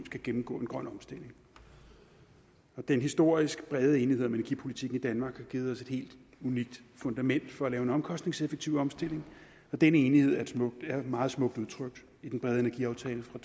skal gennemgå en grøn omstilling den historisk brede enighed om energipolitikken i danmark har givet os et helt unikt fundament for at lave en omkostningseffektiv omstilling og den enighed er meget smukt udtrykt i den brede energiaftale fra